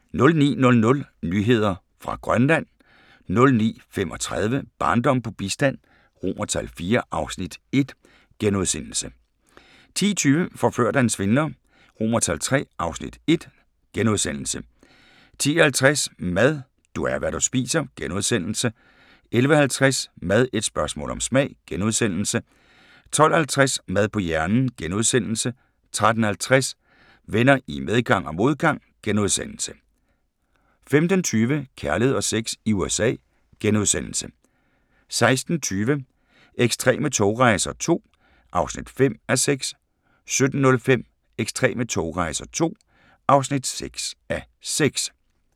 09:00: Nyheder fra Grønland 09:35: Barndom på bistand IV (Afs. 1)* 10:20: Forført af en svindler III (Afs. 1)* 10:50: Mad – du er, hvad du spiser * 11:50: Mad – et spørgsmål om smag * 12:50: Mad på hjernen * 13:50: Venner i medgang og modgang * 15:20: Kærlighed og sex i USA * 16:20: Ekstreme togrejser II (5:6) 17:05: Ekstreme togrejser II (6:6)